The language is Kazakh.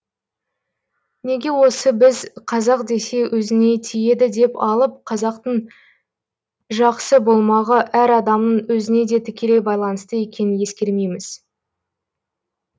неге осы біз қазақ десе өзіңе тиеді деп алып қазақтың жақсы болмағы әр адамның өзіне де тікелей байланысты екенін ескермейміз